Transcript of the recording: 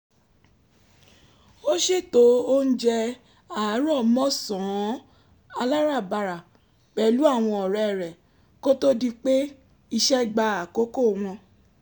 ó ṣètò oúnjẹ àárọ̀mọ́sàn-án aláràbarà pẹ̀lú àwọn ọ̀rẹ́ rẹ̀ kó tó di pé iṣẹ́ gba àkọ́kò wọn